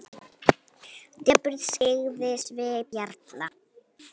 Depurð skyggði svip jarla.